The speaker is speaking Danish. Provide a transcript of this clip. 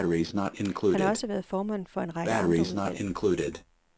Han har også været formand for en række andre udvalg.